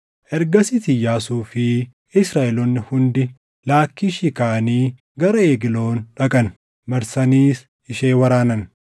Ergasiis Iyyaasuu fi Israaʼeloonni hundi Laakkiishii kaʼanii gara Egloon dhaqan; marsaniis ishee waraanan.